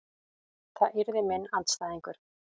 Það yrði minn andstæðingur.